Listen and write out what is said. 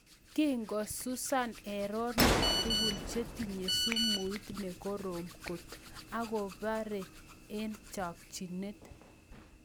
Kikosusaa erenook tugul chetinye sumuut nekorom kot akoparee eng chakchinet